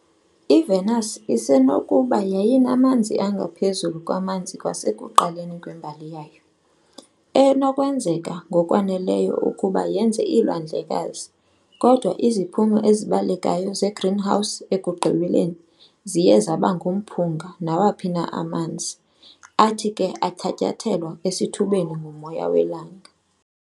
IVenus isenokuba yayinamanzi angaphezulu kwamanzi kwasekuqaleni kwembali yayo, enokwenzeka ngokwaneleyo ukuba yenze iilwandlekazi, kodwa iziphumo ezibalekayo zegreenhouse ekugqibeleni ziye zaba ngumphunga nawaphi na amanzi, athi ke athatyathelwa esithubeni ngumoya welanga .